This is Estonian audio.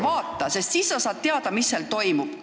Vaata, sest siis sa saad teada, mis seal toimub!